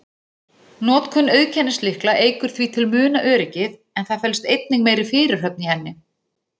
Notkun auðkennislykla eykur því til muna öryggið, en það felst einnig meiri fyrirhöfn í henni.